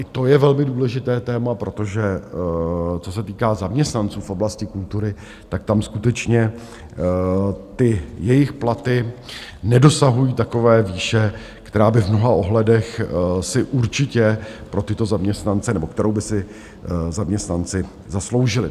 I to je velmi důležité téma, protože co se týká zaměstnanců v oblasti kultury, tak tam skutečně ty jejich platy nedosahují takové výše, která by v mnoha ohledech si určitě pro tyto zaměstnance... nebo kterou by si zaměstnanci zasloužili.